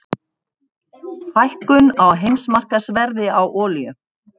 Hækkun á heimsmarkaðsverði á olíu